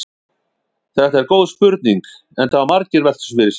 Þetta er góð spurning enda hafa margir velt þessu fyrir sér.